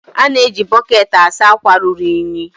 A na-eji bọketi asa akwa ruru unyi.